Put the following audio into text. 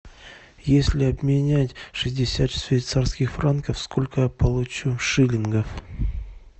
если обменять шестьдесят швейцарских франков сколько я получу шиллингов